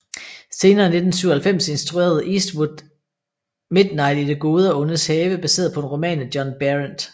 Senere i 1997 instruerede Eastwood Midnat i det gode og ondes have baseret på en roman af John Berendt